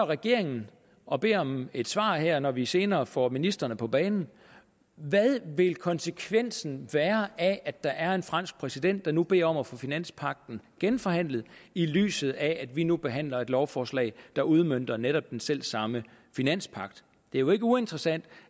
regeringen og beder om et svar her når vi senere får ministrene på banen hvad vil konsekvensen være af at der er en fransk præsident der nu beder om at få finanspagten genforhandlet i lyset af at vi nu behandler et lovforslag der udmønter netop den selv samme finanspagt det er jo ikke uinteressant